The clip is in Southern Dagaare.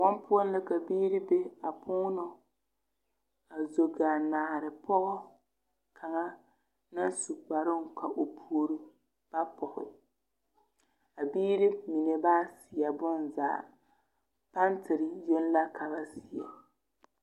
Kõɔŋ poɔ la ka biiri be a puunɔ a zo ɡaa naare pɔɡɔ kaŋa na su kparoo ka o puori ba pɔɡe a biiri mine ba seɛ bonzaa pantere yoŋ la ka ba seɛ.